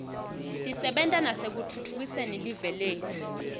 tisebenta nasekutfutfukiseni live letfu